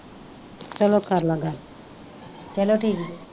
ਚਲੋ ਕਰਲਾ ਗੱਲ ਚਲੋ ਠੀਕ ਜੇ।